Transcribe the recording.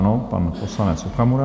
Ano, pan poslanec Okamura.